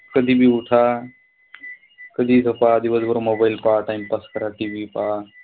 कधी बी ऊठा कधीही झोपा, दिवसभर mobile पहा, time pass करा, TV पहा.